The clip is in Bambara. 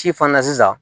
Ci fana na sisan